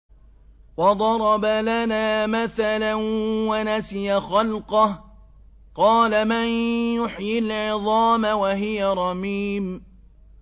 وَضَرَبَ لَنَا مَثَلًا وَنَسِيَ خَلْقَهُ ۖ قَالَ مَن يُحْيِي الْعِظَامَ وَهِيَ رَمِيمٌ